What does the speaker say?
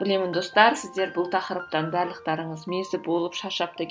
білемін достар сіздер бұл тақырыптан барлықтарыңыз мезі болып